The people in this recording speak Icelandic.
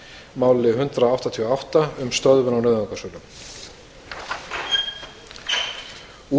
máli hundrað áttatíu og átta um stöðvun á nauðungarsölum